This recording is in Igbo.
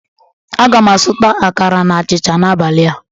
Aga m azụta akara na achịcha na-abalị a